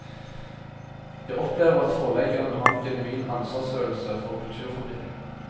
Jeg opplever at forleggerne har en genuin ansvarsfølelse for kulturformidling.